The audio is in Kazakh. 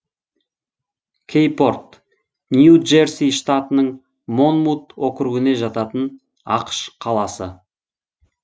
кэйпорт нью джерси штатының монмут округіне жататын ақш қаласы